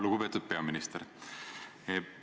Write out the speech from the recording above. Lugupeetud peaminister!